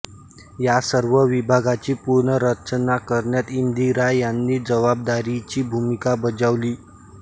या सर्व विभागाची पुनर्रचना करण्यात इंदिरा यांनी जबाबदारीची भूमिका बजावली